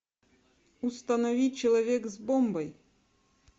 установи человек с бомбой